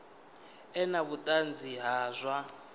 ḓe na vhuṱanzi ha zwa